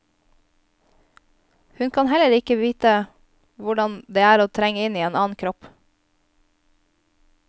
Hun kan heller ike vite hvordan det er å trenge inn i en annen kropp.